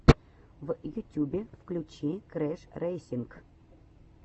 в ютюбе включи крэшрэйсинг